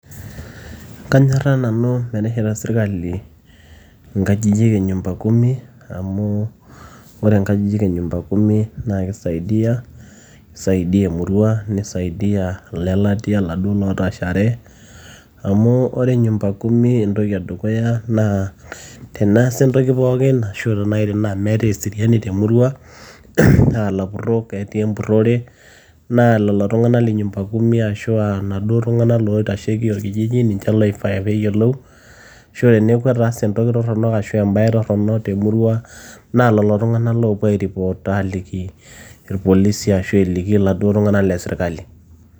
kanyorra nanu metesheta sirkali inkajijik e nyumba kumi amu ore inkajijik e nyumba kumi naa kisaidia ,kisaidia emurua nisaidia ilelatia laduo lootashare amu ore nyumba kumi entoki edukuya naa teneesa entoki pookin ashu tenai naaji meetae eseriani temurua naa ilapurrok etii empurrore naa lelo tung'anak le nyumba kumi ashua naduo tung'anak loitasheki orkijiji ninche loifaa peeyiolou ashu teneeku etaase entoki torrono ashu embaye torronok temurua naa lolo tung'anak loopuo ae report aaliki irpolisi ashu eliki iladuo tung'anak lesirkali.